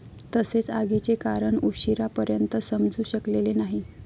तसेच आगीचे कारण उशीरा पर्यंत समजु शकलेले नाही.